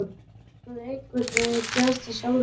Þetta hafði einhvern veginn gerst af sjálfu sér.